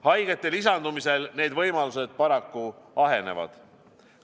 Haigete lisandumisel need võimalused paraku ahenevad.